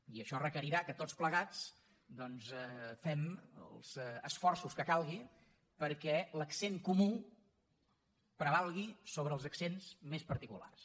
i això requerirà que tots plegats fem els esforços que calguin perquè l’accent comú prevalgui sobre els accents més particulars